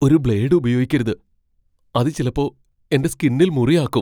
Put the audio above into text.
ഒരു ബ്ലേഡ് ഉപയോഗിക്കരുത്. അത് ചിലപ്പോ എന്റെ സ്കിന്നിൽ മുറി ആക്കും .